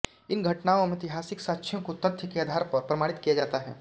इन घटनाओं व ऐतिहासिक साक्ष्यों को तथ्य के आधार पर प्रमाणित किया जाता है